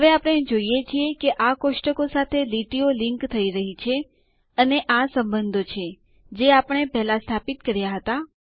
હવે આપણે જોઈએ છીએ કે આ ટેબલો કોષ્ટકો સાથે લીટીઓ લીન્ક થઈ જોડાઈ રહી છે અને આ સંબંધો છે જે આપણે પહેલાં સ્થાપિત કર્યા હતા